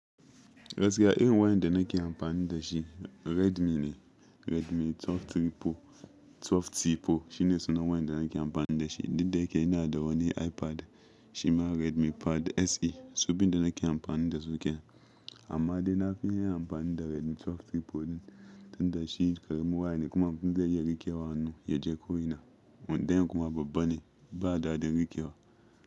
Gaskiya, irin wayan da naki amfanin da shi Redmi ne. Redmi 12C Pro shine suna wayan da naki amfanin da shi. Dukda yake ina da wane iPad shima Redmi Pad SE. Su biyun da naki amfanin da suke. Amma dai na fi yin amfani da Redmi 12C Pro din tunda shi karamin waya ne kuma abun zan iya rikewa a hannu, ya je ko ina. Mun daina kuma babban ne. Ba da dadin rike wa.